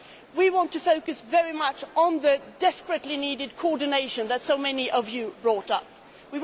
We want to focus very much on the desperately needed coordination that so many of you mentioned.